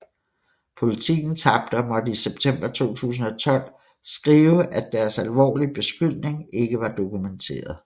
Politiken tabte og måtte i september 2012 skrive at deres alvorlige beskyldning ikke var dokumenteret